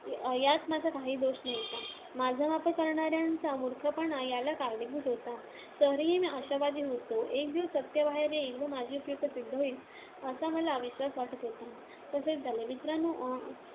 यात माझा काहीही दोष नव्हता, माझा वापर करणाऱ्यांचा मूर्खपणा याला कारणीभूत होता. तरीही मी आशावादी होतो. एक दिवस सत्य बाहेर येईल व माझी उपयुक्तता सिद्ध होईल, असा मला विश्‍वास वाटत होता. तसेच झाले. मित्रांनो,